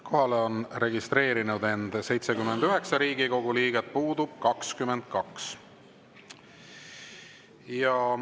Kohalolijaks on registreerinud end 79 Riigikogu liiget, puudub 22.